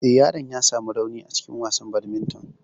Eh, yaron ya samu rauni a lokacin wasan badminton.